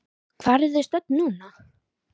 Hvar eru þið stödd í þessu núna?